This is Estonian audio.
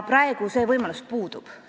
Praegu see võimalus puudub.